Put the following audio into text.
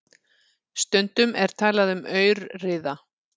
Stundum er talað um aurriða.